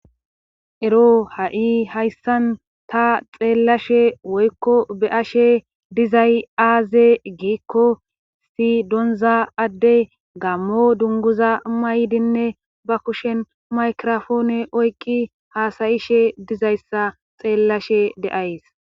Ero ha7i hayssan ta xeellashe woykko be ashe dizay aaze giikko si donza adde gammo dunguza maydinne ba kushen maykirofoone oykqi haasayishe dizayssa xeellashe de7ays.